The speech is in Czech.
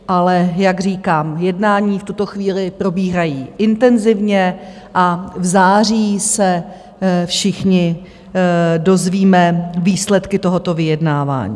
Ale jak říkám, jednání v tuto chvíli probíhají intenzivně a v září se všichni dozvíme výsledky tohoto vyjednávání.